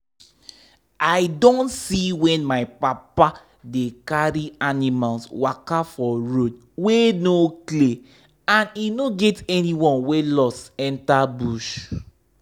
i don see when my papa dey carry animals waka for road wey no clear and e no get anyone wey lost enter bush.